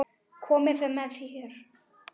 Komið að þér.